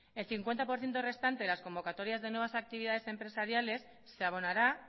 el cincuenta por ciento restante de las convocatorias de nuevas actividades empresariales se abonará